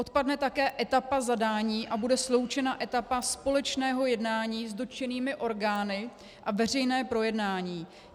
Odpadne také etapa zadání a bude sloučena etapa společného jednání s dotčenými orgány a veřejné projednání.